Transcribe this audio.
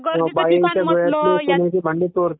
हो आता गर्दीचा ठिकाण म्हंटलं तर राहतेच